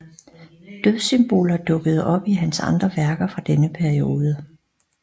Dødssymboler dukkede op i hans andre værker fra denne periode